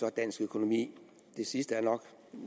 og dansk økonomi det sidste er nok